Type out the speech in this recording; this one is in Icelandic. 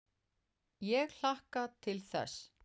Ég hlakka til þess.